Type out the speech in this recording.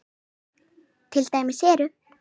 Til dæmis eru